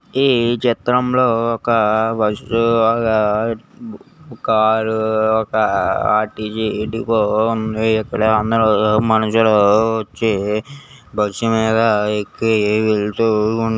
ఈ చిత్రంలో ఒక బస్సు ఒక కారు ఒక ఆర్_టీ_సీ డిపో ఉంది. పిల్లలందరూ మనుషులు వచ్చి బస్సు మీద ఎక్కి వెళ్తూ ఉంటారు.